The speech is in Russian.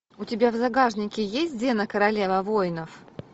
у тебя в загашнике есть зена королева воинов